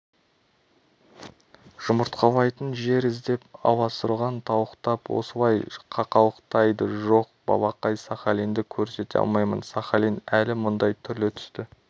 жұмыртқалайтын жер іздеп аласұрған тауықтап осылай қақылықтайды жоқ балақай сахалинді көрсете алмаймын сахалин әлі мұндай түрлі-түсті